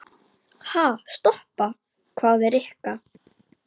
Ha, stoppa? hváði Rikka.